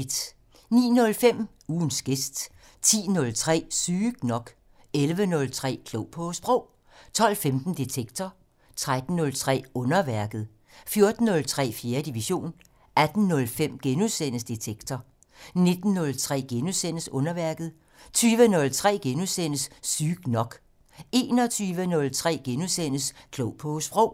09:05: Ugens gæst 10:03: Sygt nok 11:03: Klog på Sprog 12:15: Detektor 13:03: Underværket 14:03: 4. division 18:05: Detektor * 19:03: Underværket * 20:03: Sygt nok * 21:03: Klog på Sprog *